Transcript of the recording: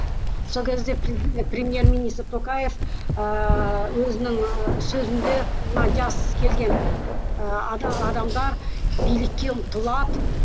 сол кезде премьер министр токаев ыыы өзінің і сөзінде мына жас келген ыыы адамдар билікке ұмтылады